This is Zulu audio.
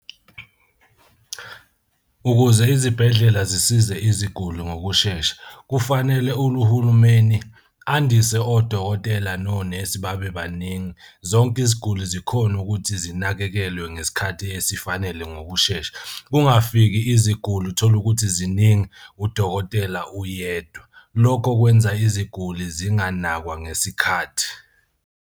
Ukuze izibhedlela zisize iziguli ngokushesha, kufanele uhulumeni andise odokotela nonesi babe baningi. Zonke iziguli zikhone ukuthi zinakekelwe ngesikhathi esifanele ngokushesha. Kungafiki iziguli utholukuthi ziningi udokotela uyedwa, lokho kwenza iziguli zinganakwa ngesikhathi.